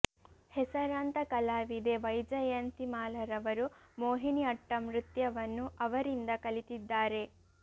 ಹೆಸರಾಂತ ಕಲಾವಿದೆ ವೈಜಯಂತಿ ಮಾಲಾರವರು ಮೋಹಿನಿ ಅಟ್ಟಂ ನೃತ್ಯವನ್ನು ಅವರಿಂದ ಕಲಿತಿದ್ದಾರೆ